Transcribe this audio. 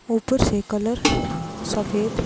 ऊपर से कलर सफेद--